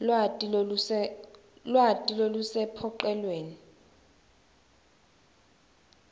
lwati lolusecophelweni